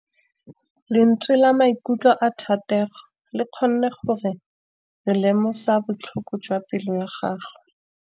Lentswe la maikutlo a Thategô le kgonne gore re lemosa botlhoko jwa pelô ya gagwe.